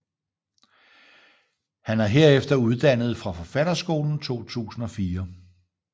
Han er herefter uddannet fra Forfatterskolen 2004